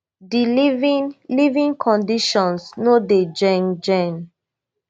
di living living conditions no dey ghen ghen